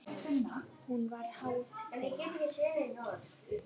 Hún var háð þeim.